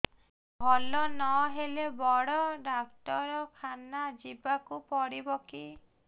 ଭଲ ନହେଲେ ବଡ ଡାକ୍ତର ଖାନା ଯିବା କୁ ପଡିବକି